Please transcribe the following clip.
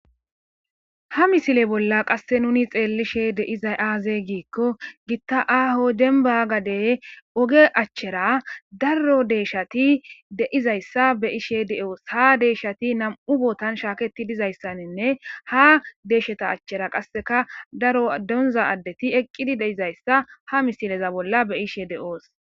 Ha misile bolla qasse nuni xeellishe deizay aaze giikko gitta aaho denba gadey oge achchera daro deeshati deizayssa be ishe de'oos ha deeshati nam'u bootan shaaketi dizayssaninne ha deesheta achchera qasseka daro donza addeti eqqidi deizayssa ha misileza bolla be ishe deoos.